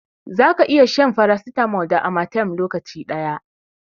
Za ka iya shan farasitamol da amatem lokaci daya